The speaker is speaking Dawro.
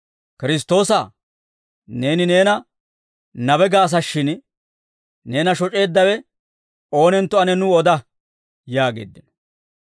«Kiristtoosaa! Neeni neena nabe gaasashshin, neena shoc'eeddawe oonentto ane nuw oda!» yaageeddino.